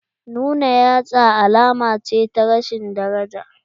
Nuna yatsa alama ce ta rashin daraja.